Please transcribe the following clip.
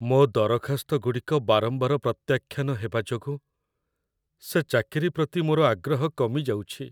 ମୋ' ଦରଖାସ୍ତଗୁଡ଼ିକ ବାରମ୍ବାର ପ୍ରତ୍ୟାଖ୍ୟାନ ହେବା ଯୋଗୁଁ ସେ ଚାକିରି ପ୍ରତି ମୋର ଆଗ୍ରହ କମିଯାଉଛି।